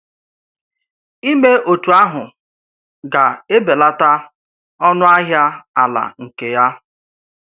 Ìmè òtú àhụ́ gà-èbèlàtà ọnù̀-ahiạ̀ àlà nke yà.